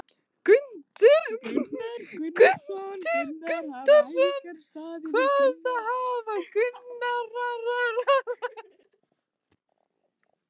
Hjörtur Hjartarson: Hvað hafa æfingar staðið yfir lengi?